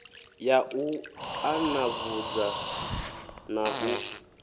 ya u ṱanḓavhudza na u